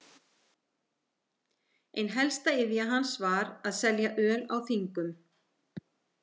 Ein helsta iðja hans var að selja öl á þingum.